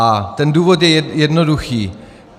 A ten důvod je jednoduchý.